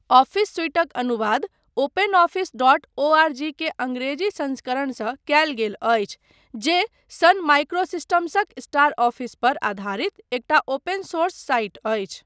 Office सुइटक अनुवाद OpenOffice dot O R G के अङ्ग्रेजी संस्करणसँ कयल गेल अछि, जे सन माइक्रोसिस्टम्सक स्टारऑफिस पर आधारित एकटा ओपन सोर्स साइट अछि।